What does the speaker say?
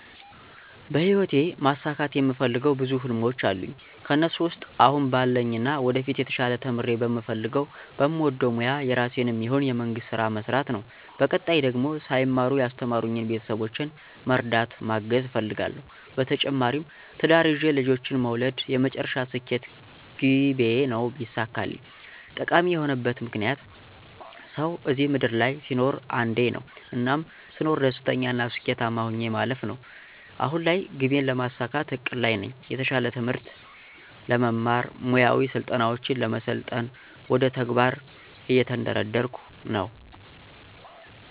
በሂወቴ ማሳካት የምፈልገው ብዙ ህልሞች አሉኝ ከእነሱ ውስጥ አሁን ባለኝና ወደፊት የተሻለ ተምሬ በምፈልገው በምወደው ሞያ የራሴንም ይሁን የመንግስት ስራ መስራት ነው በቀጣይ ደግሞ ሳይማሩ ያስተማሩኝን ቤተሰቦቼን መርዳት ማገዝ እፈልጋለሁ። በተጨማሪም ትዳር ይዤ ልጆችን መውለድ የመጨረሻ ስኬት ግቤ ነው ቢሳካልኝ። ጠቃሚ የሆነበት ምክንያት፦ ሰው እዚህ ምድር ላይ ሲኖር አንዴ ነው። እናም ስኖር ደስተኛና ስኬታማ ሆኜ ማለፍ ነው። አሁን ላይ ግቤን ለማሳካት እቅድ ላይ ነኝ። የተሻለ ትምህርት ለመማር፣ ሙያዊ ስልጠናውችን ለመሰልጠን ወደ ተግባር እየተንደረደርኩ ነው።